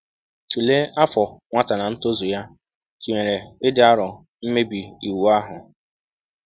Tulee afọ nwata na ntozu ya tụnyere ịdị arọ mmebi iwu ahụ.